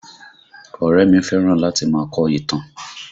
Ọ̀rẹ́ ẹ mi fẹ́ràn láti máa kọ ìtàn